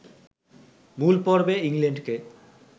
মূল পর্বে ইংল্যান্ডকে